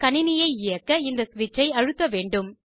கணினியை இயக்க இந்த ஸ்விட்சை அழுத்த வேண்டும்